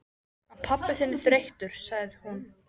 Hann pabbi þinn er þreyttur, sagði hún.